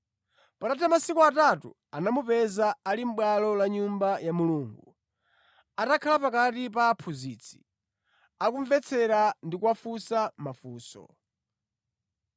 Patatha masiku atatu anamupeza ali mʼbwalo la Nyumba ya Mulungu, atakhala pakati pa aphunzitsi, akumvetsera ndi kuwafunsa mafunso.